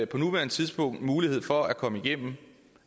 på nuværende tidspunkt mulighed for at komme igennem